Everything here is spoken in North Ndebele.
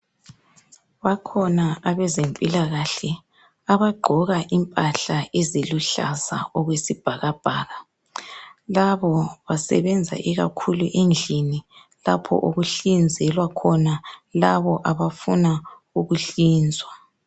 Bakhona abezempilakahle abagqoka impahla eziluhlaza okwesibhakabhaka. Labo basebenza ikakhulu endlini lapho okuhlinzelwa khona labo abafuna ukuhlinzwa.